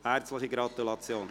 Herzliche Gratulation!